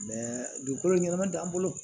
dugukolo ɲɛnama t'an bolo